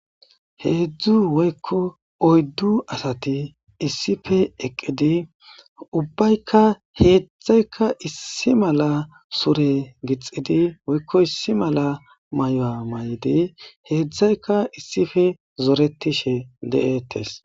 Hezhu woyka oydu asati issipe eqidi ubbayka hezhayka issi mala sure gixidi woyko issi mala maya mayidi hezhayka issipe zorehishe deete